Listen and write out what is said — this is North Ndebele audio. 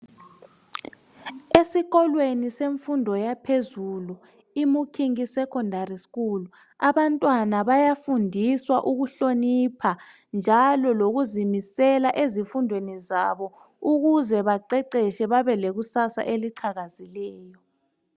Esikolweni semfundweni yaphezulu iMukingi secondary school abantwana bayafundiswa ukuhlonipha njalo lokuzimisela ezifundweni zabo ukuze baqeqeshe babelekusasa eliqhakazileyo.